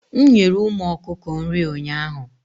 m nyere ụmụ okuko nri ụnyaahụ